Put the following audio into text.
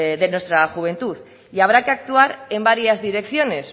de nuestra juventud y habrá que actuar en varias direcciones